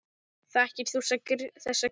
Þekkir þú þessa, Gréta?